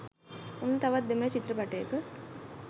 ඔන්න තවත් දෙමල චිත්‍රපටයක